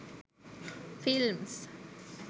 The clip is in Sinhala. films